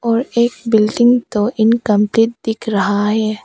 और एक बिल्डिंग तो इनकंप्लीट दिख रहा है।